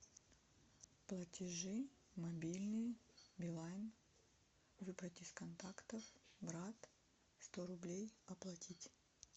платежи мобильный билайн выбрать из контактов брат сто рублей оплатить